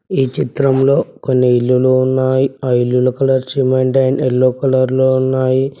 ఈ చిత్రంలో కొన్ని ఇల్లులు ఉన్నాయి ఆ ఇల్లులు కూడా సిమెంట్ అండ్ యెల్లో కలర్ లో ఉన్నాయి.